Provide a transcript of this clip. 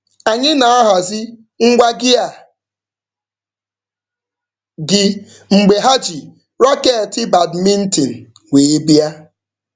Anyị na-ahazi ngwa gịa gị mgbe ha ji raketị badmintin wee bịa.